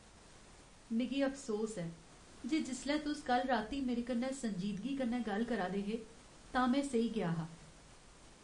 मिगी अफसोस ऐ जे जिसलै तुस कल्ल राती मेरे कन्नै संजीदगी कन्नै गल्ल करा 'रदे हे तां में सेई गेआ हा।